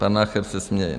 Pan Nacher se směje.